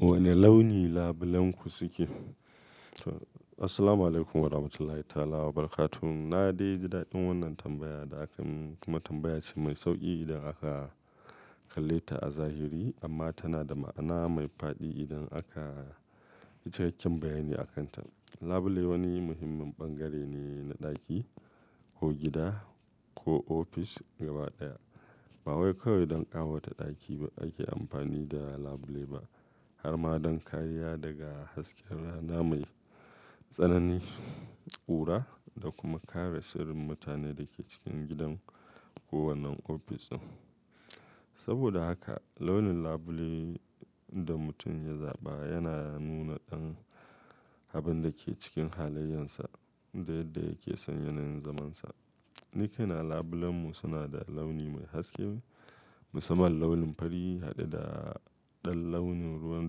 Wane launi labulenku suke? Assalamu alaikum warahmatullahi ta'ala wabarakatuh. Na dai ji daɗin wannan tambaya da aka mun, kuma tambaya ce mai sauƙi idan aka kalle ta a zahiri. Amma tana da ma'ana mai fa'di idan zaka yi cikakken bayyani a kan ta. Labule wani muhimmin bangare ne na ɗaki ko gida ko ofis gabaɗaya. Ba wai kawai don ƙawata ɗaki ake amfani da labule ba, harma don kariya daga hasken rana mai tsanani, ƙura da kuma kare sirrin mutanen da ke cikin gidan ko wannan ofishin. Saboda haka launin labule da mutum ya zaɓa yana nuna ɗan abin da ke cikin halayensa da yadda yake son yanayin zamansa. Nikaina labulenmu suna da launi mai haske, musamman launin fari haɗe da ɗan launin ruwan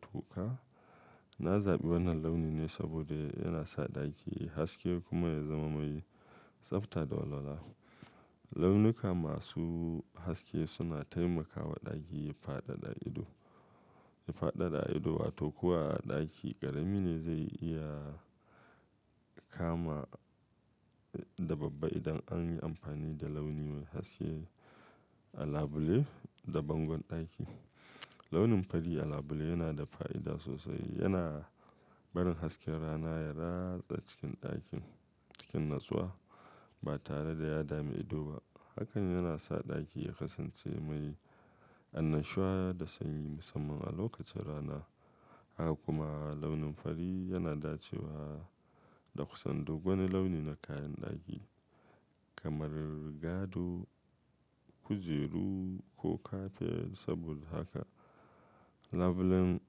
toka. Na zaɓi wannan launi ne saboda yana sa ɗaki ya yi haske kuma ya zama mai tsabta da walwala. Launuka masu haske suna taimakawa ɗaki ya faɗaɗa ido, ya faɗaɗa ido, wato kuwa a ɗaki ƙarami ne zai iya kama da babba idan an yi amfani da launi mai haske a labule da bangon ɗaki. Launin fari a labule yana da fa'ida sosai. Yana barin hasken rana ya ratsa cikin ɗakin cikin natsuwa ba tare da ya dama ido ba. Hakan yana sa ɗaki ya kasance mai annashuwa da sanyi, musamman a lokacin rana. Haka kuma launin fari yana dacewa da kusan duk wani launi na kayan ɗaki kamar rigado, kujeru ko kafet. Saboda haka labulen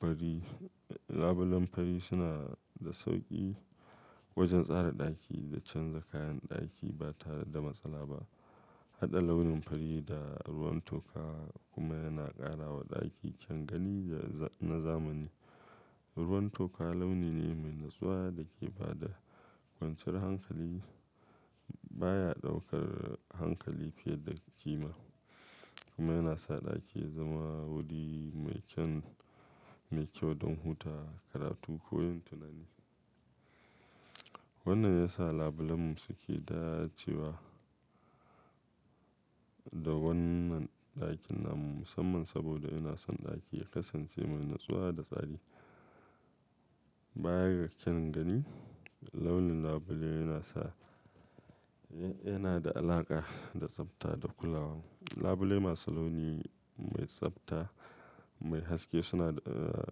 fari, labulen fari suna da sauƙi wajen tsara ɗaki da canza kayan ɗaki ba tare da matsala ba. Haɗa launin fari da ruwan toka kuma yana ƙara wa ɗaki kyan gani na zamani. Ruwan toka launi ne mai natsuwa da ke ba da kwanciyar hankali. Ba ya ɗaukar hankali fiye da ƙima kuma yana sa ɗaki ya zama wuri mai kyan, mai kyau don huta, karatu ko yin tunani. Wannan ya sa labulenmu suke dacewa da wannan ɗakin namu musamman saboda yana son ɗaki ya kasance mai natsuwa da tsari. Bayar da kyangani launin labule yana sa, yana da alaƙa da tsabta da kulawa. Labule masu launi mai tsabta, mai haske suna, eh,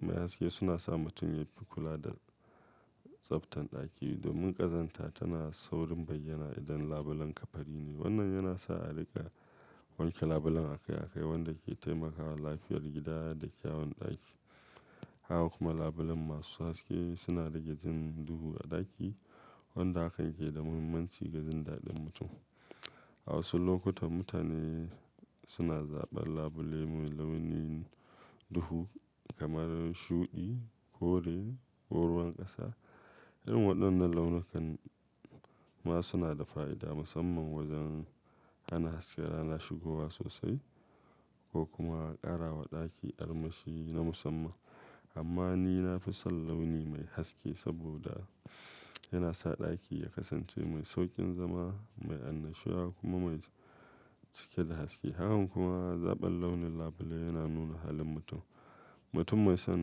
mai haske suna sa mutum yafi kula da tsabtan ɗaki. Domin ƙazanta tana saurin bayyana idan labulenka fari ne. Wannan yana sa a riƙa wanke labulen akai akai, wanda ke taimakawa lafiyar gida da kyawun ɗaki. Haka kuma labulen masu haske suna rage jin duhu a ɗaki, wanda haka yake da muhimmanci ga jin daɗin mutum. A wasu lokuta mutane suna zaɓar labule mai launin duhu kamar shuɗi, kore ko ruwan ƙasa. Yan waɗannan launukan ma suna da fa'ida musamman wajen hana hasken rana shigowa sosai ko kuma ƙara wa ɗaki armashi na musamman. Amma ni na fi son launi mai haske saboda yana sa ɗaki ya kasance mai sauƙin zama, mai annashuwa kuma mai cike da haske. Haka kuma zaɓar launin labule yana nuna halin mutum. Mutum mai son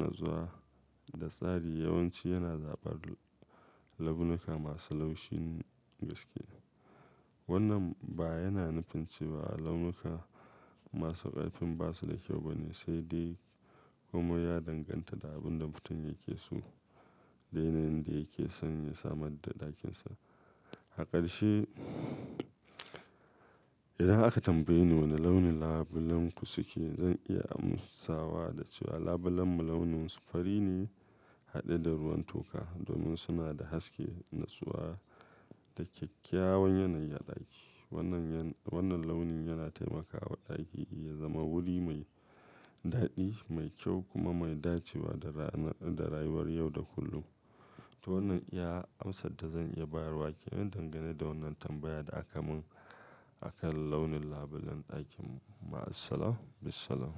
natsuwa da tsari yawanci yana zaɓar launuka masu laushin gaske. Wannan ba yana nufin cewa launuka masu ƙarfin ba su da kyau ba ne sai dai kuma ya danganta da abin da mutum yake so da yanayin da yake son ya samar da ɗakin sa. A ƙarshe, idan aka tambaye ni wane launin labulenku suke, zan iya amsawa da cewa labulenmu launin su fari ne haɗe da ruwan toka domin suna da haske, natsuwa da kyakkyawan yanayi a ɗaki. Wannan yan, wannan launin yana taimakawa ɗaki ya zama wuri mai daɗi, mai kyau kuma mai dacewa da ranar, da rayuwar yau da kullum. To wannan ya amsa da zan iya bayarwake. Ina dangane da wannan tambaya da aka mun akan launin labulen ɗakin mu. Assalamu bisalam.